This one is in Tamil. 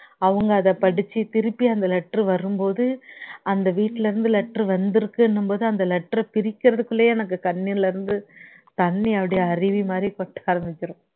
அவங்க அதை படிச்சி திருப்பி அந்த letter வரும்போது அந்த வீட்டுல இருந்து letter வந்திருக்குன்னும் போது அந்த letter ர பிரிக்கிறதுக்குள்ளையே எனக்கு கண்ணுல இருந்து தண்ணீ அப்படியே அருவு மாதிரி கொட்ட ஆரம்பிச்சிடும்